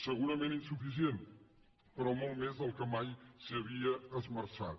segurament insuficient però molt més del que mai s’hi havia esmerçat